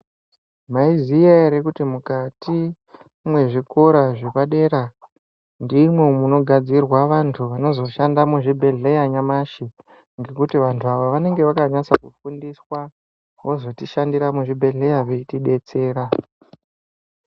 Mwaiziya ere kuti mukati mwezvikora zvepadera ndimwo mwunogadzirwa antu vanozoshanda muzvibhedhleya nyamashi ngekuti vantu aya vanenge vakabanasa kufundiswa wozotishandira muzvibhedhleya weitidetsera.